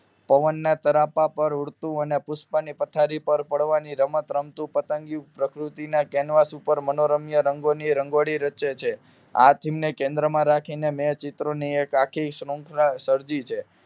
પવનના તારા ઉપર ઉડતું અને પુષ્પોની પથરી ઉપર પડવાની રમત રમતુ પતંગિયું પ્રકૃતિના કેન્વાસ ઉપર મનોરમય ની રંગોળી રચે છે આ theme ને કેન્દ્રમાં રાખીને મે ચિત્ર ની એક શૃંખલા સર્જી છે